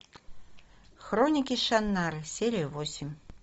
хроники шаннары серия восемь